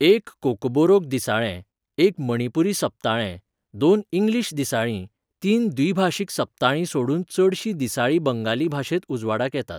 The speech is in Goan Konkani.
एक कोकबोरोक दिसाळें, एक मणिपुरी सप्ताळें, दोन इंग्लीश दिसाळीं, तीन द्विभाशीक सप्ताळीं सोडून चडशीं दिसाळीं बंगाली भाशेंत उजवाडाक येतात.